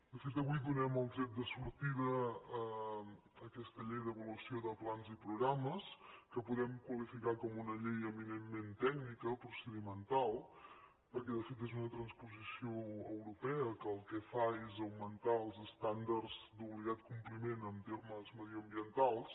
de fet avui donem el tret de sortida a aquesta llei d’avaluació de plans i programes que podem qualificar com una llei eminentment tècnica procedimental perquè de fet és una transposició europea que el que fa és augmentar els estàndards d’obligat compliment en termes mediambientals